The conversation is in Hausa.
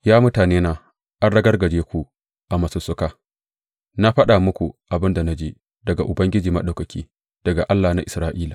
Ya mutanena, an ragargaje ku a masussuka, na faɗa muku abin da na ji daga Ubangiji Maɗaukaki, daga Allah na Isra’ila.